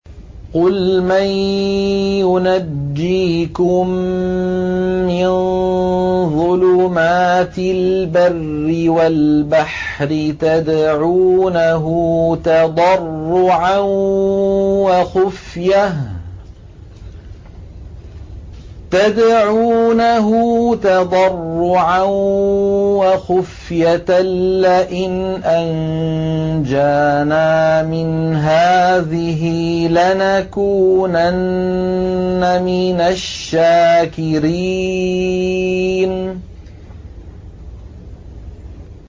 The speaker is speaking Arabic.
قُلْ مَن يُنَجِّيكُم مِّن ظُلُمَاتِ الْبَرِّ وَالْبَحْرِ تَدْعُونَهُ تَضَرُّعًا وَخُفْيَةً لَّئِنْ أَنجَانَا مِنْ هَٰذِهِ لَنَكُونَنَّ مِنَ الشَّاكِرِينَ